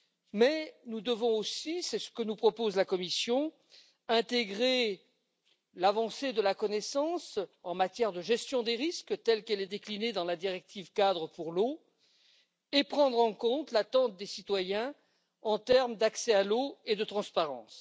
Mais nous devons aussi, c'est ce que nous propose la Commission, intégrer l'avancée de la connaissance en matière de gestion des risques, telle qu'elle est déclinée dans la directive cadre sur l'eau, et prendre en compte l'attente des citoyens en termes d'accès à l'eau et de transparence.